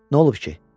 Nə olub ki?